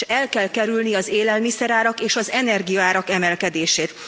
El kell kerülni az élelmiszerárak és az energiaárak emelkedését.